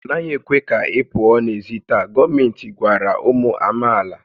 A naghị ekwe ka ị pụọ n'èzí taa! Gọọmenti gwara ụmụ amaala